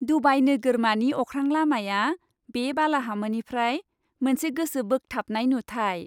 Dubai नोगोरमानि अख्रांलामाया बे बालाहामानिफ्राय मोनसे गोसो बोग्थाबनाय नुथाय।